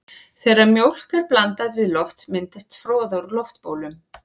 Þegar mjólk er blandað við loft myndast froða úr loftbólum.